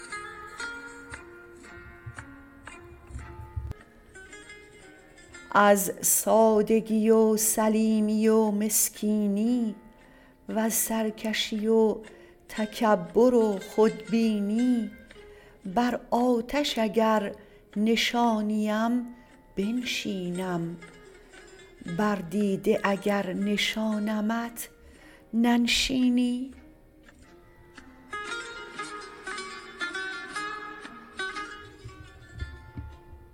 از سادگی و سلیمی و مسکینی وز سرکشی و تکبر و خودبینی بر آتش اگر نشانیم بنشینم بر دیده اگر نشانمت ننشینی